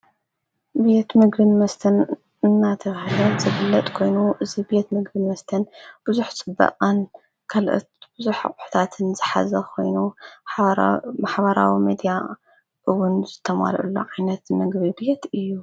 ቤት መግቢ መስተን እናተብህለት ዝፍለጥጥ ኮይኑ እዚቤት መግብን መስተን ብዙህ ጽባቀን ካልእት ብዙኅ ኣሕታትን ዘሓዘ ኾይኑ ማኅበራዊ መድያ እውን ዘተማለአሉ ዓይነት ምግቢ ቤት እዩ።